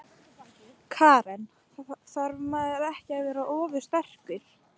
Karen: Þarf maður ekki að vera ofursterkur?